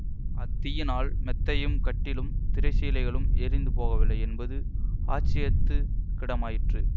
அத்தீயினால் மெத்தையும் கட்டிலும் திரை சீலைகளும் எரிந்து போகவில்லை என்பது ஆச்சரியத்துக் கிடமாயிற்று